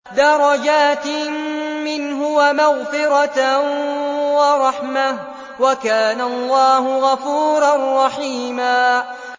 دَرَجَاتٍ مِّنْهُ وَمَغْفِرَةً وَرَحْمَةً ۚ وَكَانَ اللَّهُ غَفُورًا رَّحِيمًا